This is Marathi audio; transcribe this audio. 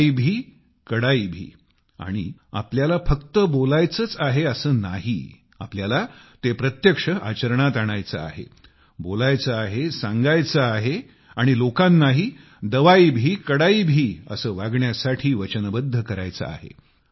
दवाई भी कडाई भी आणि आपल्याला फक्त बोलायचेच आहे असे नाही आपल्याला ते प्रत्यक्ष आचरणात आणायचे आहे बोलायचे आहे सांगायचे आहे आणि लोकांनाही दवाई भी कडाई भी असे वागण्यासाठी वचनबद्ध करायचे आहे